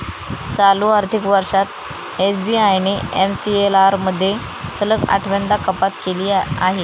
चालू आर्थिक वर्षांत एसबीआयने एमसीएलआरमध्ये सलग आठव्यांदा कपात केली आहे.